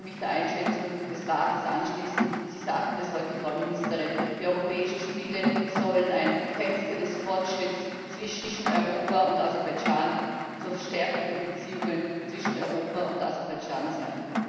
Ich würde mich der Einschätzung des Rates anschließen Sie sagten es heute, Frau Ministerin Die Europäischen Spiele sollen ein Fenster des Fortschritts zwischen Europa und Aserbaidschan zur Stärkung der Beziehungen zwischen Europa und Aserbaidschan sein.